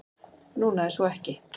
Núna er svo ekki.